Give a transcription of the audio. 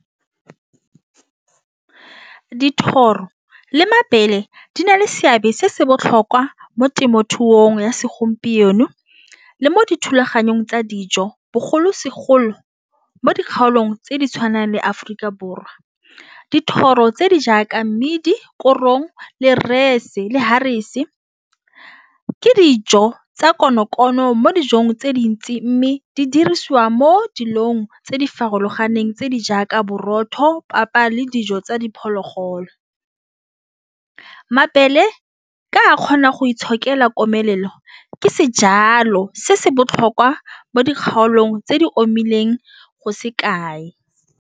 Dithoro le mabele di na le seabe se se botlhokwa mo temothuong ya segompieno le mo dithulaganyong tsa dijo bogolosegolo mo dikgaolong tse di tshwanang le Aforika Borwa dithoro tse di jaaka mmidi korong le rese le harvester ke dijo tsa konokono mo dijong tse dintsi, mme di dirisiwa mo dilong tse di farologaneng tse di jaaka borotho, papa le dijo tsa diphologolo. Mabele ka kgona go itshokela komelelo ke sejalo se se botlhokwa mo dikgaolong tse di omileng go se kae..